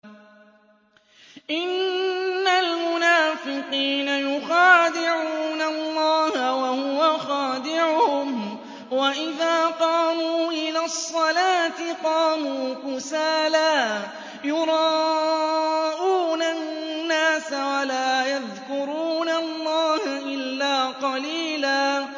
إِنَّ الْمُنَافِقِينَ يُخَادِعُونَ اللَّهَ وَهُوَ خَادِعُهُمْ وَإِذَا قَامُوا إِلَى الصَّلَاةِ قَامُوا كُسَالَىٰ يُرَاءُونَ النَّاسَ وَلَا يَذْكُرُونَ اللَّهَ إِلَّا قَلِيلًا